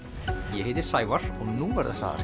ég heiti Sævar og nú verða sagðar